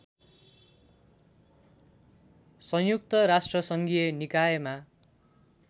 संयुक्त राष्ट्रसङ्घीय निकायमा